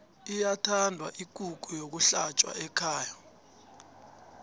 iyathanda ikukhu yokuhlatjwa ekhaya